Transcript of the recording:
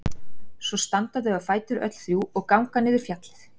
Og svo standa þau á fætur öll þrjú og ganga niður fjallið.